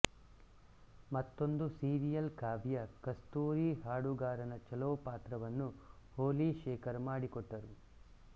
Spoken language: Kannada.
ಮತ್ತೊಂದು ಸೀರಿಯಲ್ ಕಾವ್ಯ ಕಸ್ತೂರಿ ಹಾಡುಗಾರನ ಚಲೋಪಾತ್ರವನ್ನು ಹೊಲಿ ಶೇಖರ್ ಮಾಡಿಕೊಟ್ಟರು